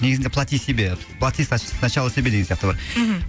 негізінде плати себе плати сначала себе деген сияқты ғой мхм